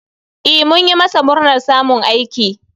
E, mun yi masa murnar samun aiki